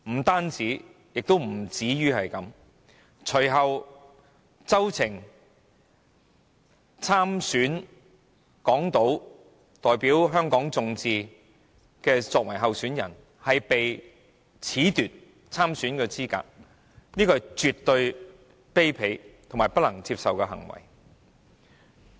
不僅如此，隨後周庭代表香港眾志參加立法會港島區補選，但卻被褫奪參選資格，這絕對是卑鄙和不能接受的行為。